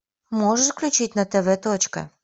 можешь включить на тв точка